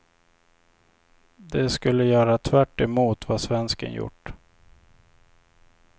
De skulle göra tvärtemot vad svensken gjort.